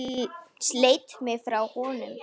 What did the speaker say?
Sleit mig frá honum.